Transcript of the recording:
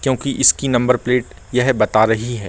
क्योंकि इसकी number plate यह बता रही हैं।